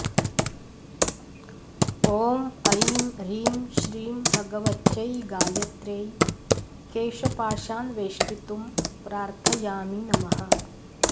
ॐ ऐं ह्रीं श्रीं भगवत्यै गायत्र्यै केशपाशान् वेष्टितुं प्रार्थयामि नमः